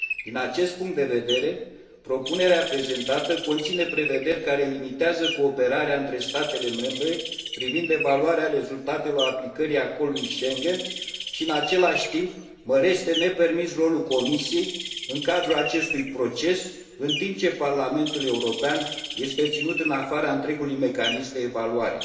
Din acest punct de vedere, propunerea prezentată conține prevederi care limitează cooperarea dintre statele membre privind evaluarea rezultatelor aplicării acordului Schengen și, în același timp, mărește nepermis rolul Comisiei în cadrul acestui proces, în timp ce Uniunea European este ținută în afara întregului mecanism de evaluare.